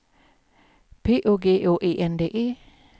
P Å G Å E N D E